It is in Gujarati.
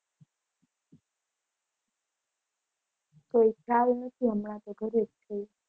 કોઈ ખ્યાલ નથી હમણાં તો ઘરે જ છું.